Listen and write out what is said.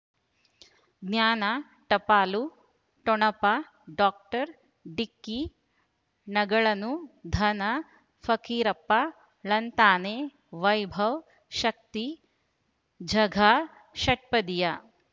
ಜ್ಞಾನ ಟಪಾಲು ಠೊಣಪ ಡಾಕ್ಟರ್ ಢಿಕ್ಕಿ ಣಗಳನು ಧನ ಫಕೀರಪ್ಪ ಳಂತಾನೆ ವೈಭವ್ ಶಕ್ತಿ ಝಗಾ ಷಟ್ಪದಿಯ